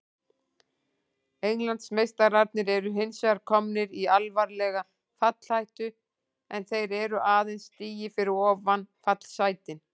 Englandsmeistararnir eru hinsvegar komnir í alvarlega fallhættu en þeir eru aðeins stigi fyrir ofan fallsætin.